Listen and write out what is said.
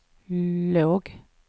låg